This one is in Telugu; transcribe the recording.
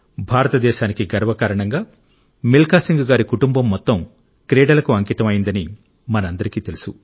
భారతదేశానికి గర్వకారణంగా మిల్కా సింగ్ గారి కుటుంబం మొత్తం క్రీడలకు అంకితం అయిందని మనందరికీ తెలుసు